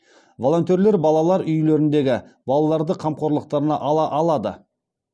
волонтерлер балалар үйлеріндегі балаларды қамқорлықтарына ала алады